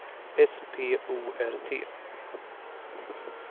S P O R T